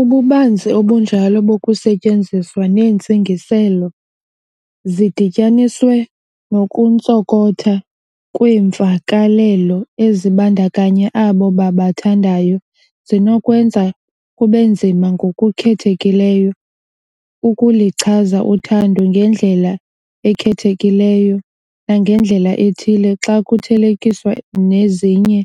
Ububanzi obunjalo bokusetyenziswa neentsingiselo, zidityaniswe nokuntsonkotha kweemvakalelo ezibandakanya abo babathandayo, zinokwenza kube nzima ngokukhethekileyo ukuluchaza uthando ngendlela ekhethekileyo nangendlela ethile, xa kuthelekiswa nezinye